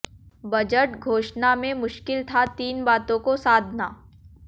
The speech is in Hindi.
बजट घोषणा में मुश्किल था तीन बातों को साधना